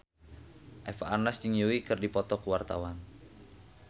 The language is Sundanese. Eva Arnaz jeung Yui keur dipoto ku wartawan